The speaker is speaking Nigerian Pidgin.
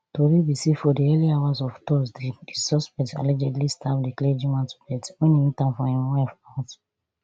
tori be say for di early hours of thursday di suspect allegedly stab di clergyman to death wen e meet am for im wife house